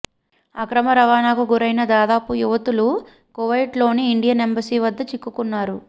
అక్రమ రవాణాకు గురైన దాదాపు యువతులు కువైట్లోని ఇండియన్ ఎంబసి వద్ద చిక్కుకున్నారు